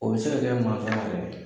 O bɛ se ka kɛ mansɔn y'a yɛrɛ.